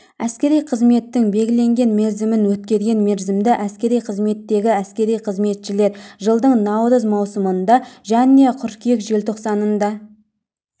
әскери қызметтің белгіленген мерзімін өткерген мерзімді әскери қызметтегі әскери қызметшілер жылдың наурыз маусымында және қыркүйек желтоқсанында